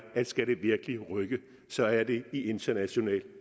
at skal det virkelig rykke så er det i internationalt